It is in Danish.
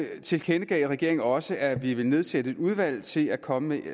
tilkendegav regeringen også at vi ville nedsætte et udvalg til at komme